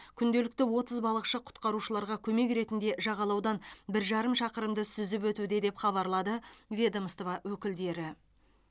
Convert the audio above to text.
күнделікті отыз балықшы құтқарушыларға көмек ретінде жағалаудан бір жарым шақырымды сүзіп өтуде деп хабарлады ведомство өкілдері